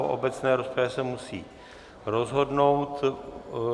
O obecné rozpravě se musí rozhodnout.